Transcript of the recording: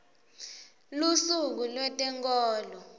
lusuku lwetenkholo